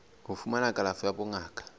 ho fumana kalafo ya bongaka